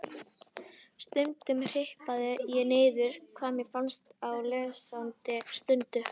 Stundum hripaði ég niður hvað mér fannst á lesandi stundu.